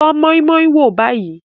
Tọ́ moi-moi wò báyìí.